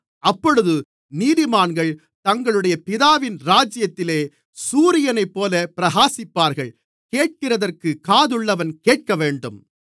அப்பொழுது நீதிமான்கள் தங்களுடைய பிதாவின் ராஜ்யத்திலே சூரியனைப்போலப் பிரகாசிப்பார்கள் கேட்கிறதற்குக் காதுள்ளவன் கேட்கவேண்டும்